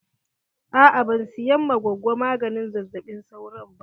Aa ban siyan ma gogo maganin zazzaɓin sauro ba.